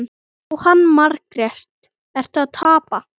Jóhanna Margrét: Ertu að tapa?